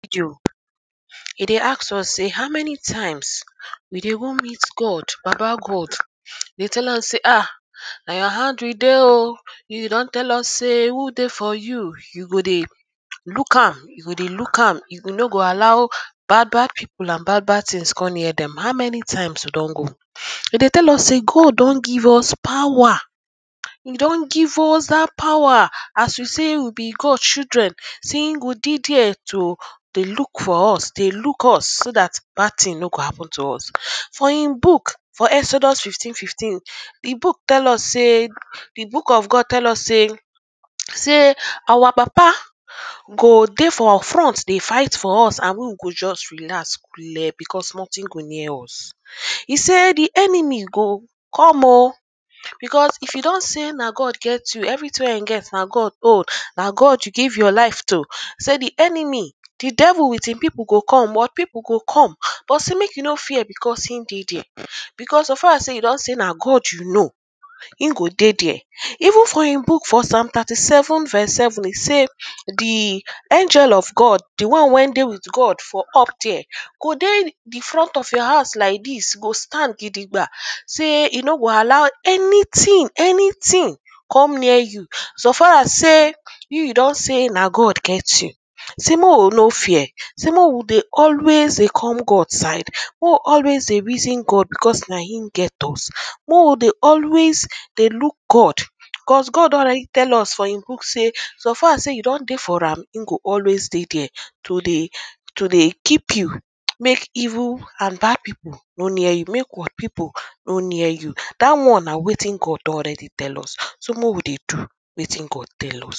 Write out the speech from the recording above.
this video, e dey ask us say how many times we dey go meet God, baba God dey say ah, na your hand we dey oh. you don tell us say who dey for you, you go dey look am you go dey look am, you no go allow bad bad people an bad bad things come near them. how many times you don go dem dey tell us say God don give us power e don give us power. as we say we be good choildren, sey him go dey there dey look for us, dey luk us so that bad tins no go happen to us for him book for exodus 15:15, the book tell us say, the book of God tell us say say our papa go dey front dey fight for us, an we, we go just dey coole dey relaz because nothing go near us e say the enemy go come oh because if e don say na God get you, everything wey you get na God own, na God you give your life to, sey the enemy the devil with him people go come, world people go come, but say make you no fear, beacause him dey there because so far sey you don say na God you know him go dey there even for him book for psalm 37:7 e say say the angel of God the one when dey with God for up there go dey the front of your house like this go stand gidigba say e no go allow anytin anytin come near you so far as say you you don say na God get you say make we no fear, say make we dey always dey come God side make we always dey reason God because na him get us make we always dey look God cos God don already tell us for him book say so far as sey you don dey for am him go always dey there to dey to dey keep you make evil an bad people no near you, make world people no near you that one na wetin God don already tell us say make we dey do wetin God tell us